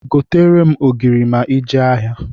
Gotere m ogiri ma i jee ahịa!